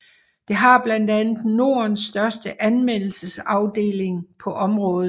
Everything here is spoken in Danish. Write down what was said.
Det har blandt andet Nordens største anmeldelsesafdeling på området